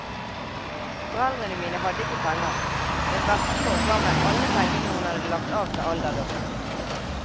Foreldrene mine hadde ikke penger, men bestemor ga meg alle pengene hun hadde lagt av til alderdommen.